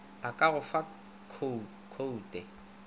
a ka go fa khoute